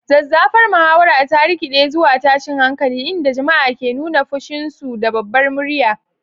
Zazzafar muhawarar ta rikide zuwa tashin hankali, inda jama'a ke nuna fushinsu da babbar murya.